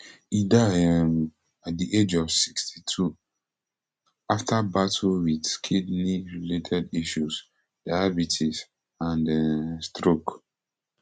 e die um at di age of sixty-two afta battle wit kidney related issues diabetes and um stroke